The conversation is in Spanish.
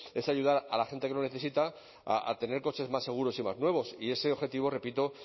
es ayudar a la gente que lo necesita a tener coches más seguros y más nuevos y ese objetivo repito